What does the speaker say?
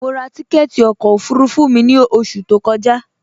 Mọ rá tìkẹtì ọkọ ofurufu mi ni oṣù tó kọja.